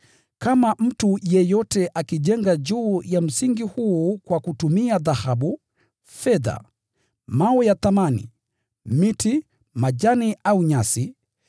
Kama mtu yeyote akijenga juu ya msingi huu kwa kutumia dhahabu, fedha, vito vya thamani, miti, majani au nyasi,